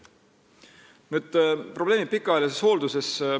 Nüüd pikaajalise hoolduse probleemid.